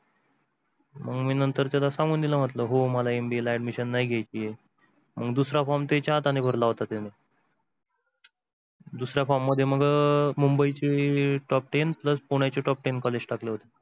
मग मी नंतर त्याला सांगून दिल म्हटल मला MBA ला admission नाही घ्यायची आहे आणि दूसरा form तिच्या हाताने भरला होता तिने. दुसऱ्या form मध्ये मग् अह मुंबईचे top ten plus पुण्याचे top ten colleges टाकले होते.